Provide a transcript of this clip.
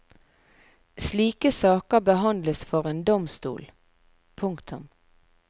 Slike saker behandles for en domstol. punktum